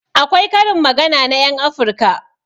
Akwai karin magana na ƴan afirka